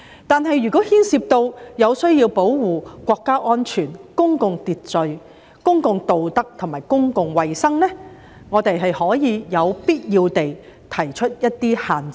但是，如牽涉需要保護國家安全、公共秩序、公共道德和公共衞生，也可有必要地提出一些限制。